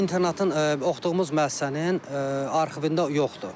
Bu internatın, oxuduğumuz müəssisənin arxivində yoxdur.